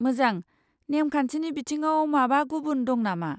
मोजां, नेम खान्थिनि बिथिङाव माबा गुबुन दं नामा?